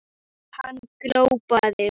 Hann glopraði engu út úr sér.